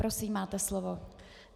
Prosím, máte slovo.